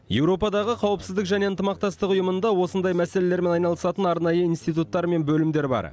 еуропадағы қауіпсіздік және ынтымақтастық ұйымында осындай мәселелермен айналысатын арнайы институттар мен бөлімдер бар